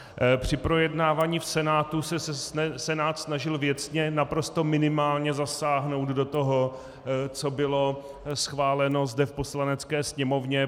Při projednávání v Senátu se Senát snažil věcně, naprosto minimálně zasáhnout do toho, co bylo schváleno zde v Poslanecké sněmovně.